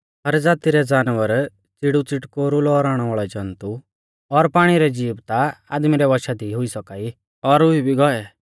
हर ज़ाती रै पशु च़िड़ुच़िटकोरु लौराउणै वाल़ै जन्तु और पाणी रै ज़ीव ता आदमी रै वंशा दी हुई सौका ई और हुई भी गौऐ